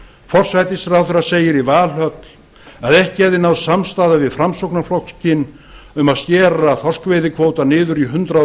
forsætisráðherra segir í valhöll að ekki hefði náðst samstaða við framsóknarflokkinn um að skera þorskveiðikvótann niður í hundrað